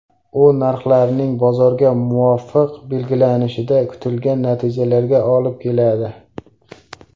U, narxlarning bozorga muvofiq belgilanishida, kutilgan natijalarga olib keladi.